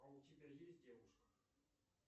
а у тебя есть девушка